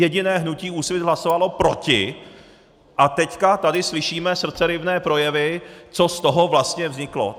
Jediné hnutí Úsvit hlasovalo proti, a teď tady slyšíme srdceryvné projevy, co z toho vlastně vzniklo.